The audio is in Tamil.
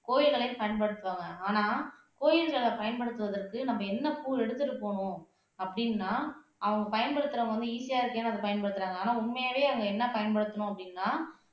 கோயில்களையும் பயன்படுத்துவாங்க ஆனா கோயில்களைப் பயன்படுத்துவதற்கு நம்ம என்ன பூ எடுத்துட்டுப் போகனும் அப்படின்னா அவங்க பயன்படுத்துறவங்க வந்து ஈசியா இருக்கேன் அதை பயன்படுத்துறாங்க ஆனா உண்மையாவே அங்க என்ன பயன்படுத்தணும் அப்படின்னா